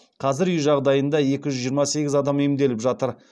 қазір үй жағдайында екі жүз жиырма сегіз адам емделіп жатыр